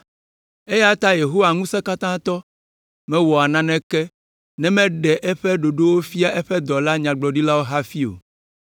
Eya ta Yehowa Ŋusẽkatãtɔ, mewɔa naneke ne meɖe eƒe ɖoɖo fia eƒe dɔla nyagblɔɖilawo hafi o.